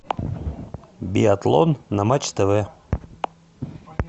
биатлон на матч тв